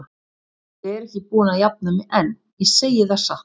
Ég er ekki búin að jafna mig enn, ég segi það satt.